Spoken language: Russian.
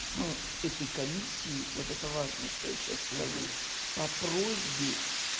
этой комиссии вот это важно что я сейчас скажу по просьбе